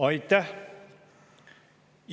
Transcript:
Aitäh!